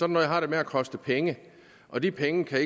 noget har det med at koste penge og de penge kan